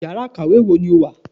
íyará ikáwe wọ ní o wá?